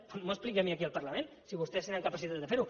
no m’ho expliqui a mi aquí al parlament si vostès tenen capacitat de fer ho